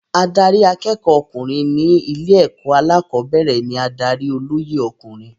Adarí akẹ́kọ̀ọ́ ọkùnrin ní ilé-ẹ̀kọ́ alẹ́kọ̀ọ́bẹ̀rẹ̀ ní adarí olóyè ọkùnrin.